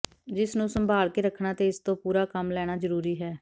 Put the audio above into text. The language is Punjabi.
ਜਿਸ ਨੂੰ ਸੰਭਾਲ ਕੇ ਰੱਖਣਾ ਅਤੇ ਇਸ ਤੋਂ ਪੂਰਾ ਕੰਮ ਲੈਣਾ ਜਰੂਰੀ ਹੈ